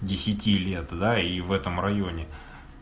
десяти лет да и в этом районе